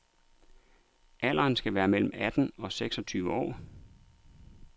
Alderen skal være mellem atten og seks og tyve år.